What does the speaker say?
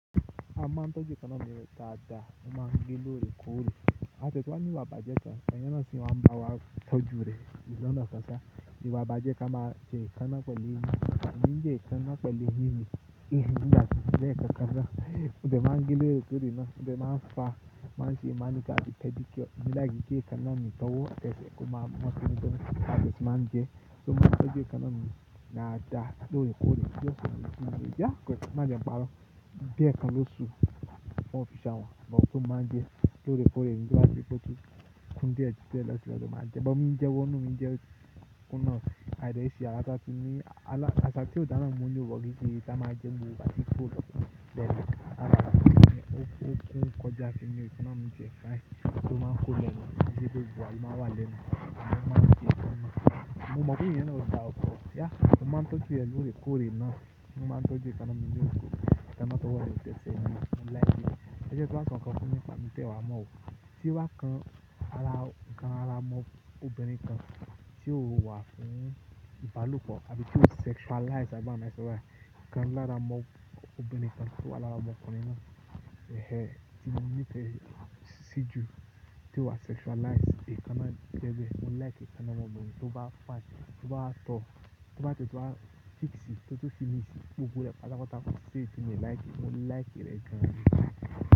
Mo máa ń tọ́jú ekanáà ní dáadáa, mo máa ń gé lóre kó rẹ̀. Mo tún wá ní ìwà ibàjẹ́ kan, èyàn ná sì máa ń bá wa tọ́jú rẹ̀. Lọ́nà kan sá, ìwà bàjẹ́ ka máa jẹ́ ekanna pẹ̀lú eyìn. Èmi njẹ́ ekanna pẹ̀lú eyìn ni ìhìn ní gbami lẹ́ẹ̀kọ̀kan ná. Mo dé ma ń gé lórẹ̀ kó rẹ̀ ná, mo dẹ́ máa ń fa, máa sì máa ṣe manicure àti pedicure mo like kí ekanna mí ìtọ́wọ́. Tẹ́sẹ́ kó máa mọ tónítóní, a dẹ́ tu máa ń gẹ ẹ́. So máa ń tọ́jú kanáà ní dáadáa, lóore kóòrè. Bá n kí, máa jẹ́ n paro. Bí ẹ́ kan ló ṣú, wọ́n fi ṣán wà, gbogbo tó máa ń jẹ lóore kóòrè. Nígbà tí ìbò tó kú díẹ̀ ju tẹ́lẹ̀ sílẹ̀ lọ máa jẹ ẹ́. Ọgbọ́n mí ń jẹ wọ́nà, mí ń jẹ kúnà á, àìda ìṣí alátátún ni. Asa tí o dáná mú ní òpò gidi tí a máa ń jẹ ńmu wà tí kò lọ bẹ̀rẹ̀ ká. Alátátún ni ó kọjá sí inú, ẹ́ máa mú jẹ ẹ́ káàdí. Tó máa ń kó lọ níbí bí òjúwàá, ẹ́ máa wà lẹ́nu, àbí ẹ́ máa ń jẹ ẹ́ kúnà. Mo mọ̀ pé èyàn náà ó ta ọkọ̀. Ẹ̀yà, a máa ń tọ́jú rẹ̀ lóore kóòrè ná. A máa ń tọ́jú kanáà ní òpò gidi tí a máa tó wọlé tẹ́ẹ̀ sì ẹ́ ní, mo ń like rẹ̀. Ẹ jẹ́ kí wa sọ nkọ́ fún yín nípa mí tẹ́ẹ wá mọ́ o. Tí wá kan ara mọ́ ọ, obìnrin kan. Tí o wà fún ìbálòpọ̀, àbí tí o sexualize àbí báwo ni fo sọ báyìí. I kan lára mọ́ ọ, ọmọbìnrin kan. Tí o wà lára ọmọ́ kùnrin náà, ehén, tí mo ní pé siju, tí o wa sexualize, ìkanna tẹ́ẹ̀ jẹ́, mo like ìkanna ọmọ yẹn. Tó bá fine, tó bá tọ́, tó bá tẹ́ tún wá fix it, tó tún wá fi ìmí sí gbogbo rẹ̀. Pátá pátá, kò sí èyí tí mi ò like, mo like ẹ̀ rẹ̀ gan o.